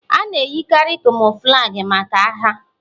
A na-eyikarị Camouflagi maka agha.